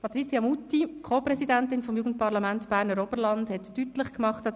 Patricia Muti, Co-Präsidentin des Jugendparlaments Berner Oberland, hat an dem Anlass deutlich gemacht,